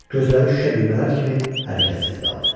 Gözləri şüşə düymələr kimi hərəkətsiz qaldı.